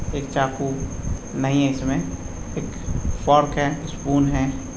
एक चाकू नहीं है इसमें एक फोक है स्पून है।